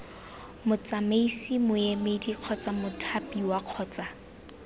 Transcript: motsamaisi moemedi kgotsa mothapiwa kgotsa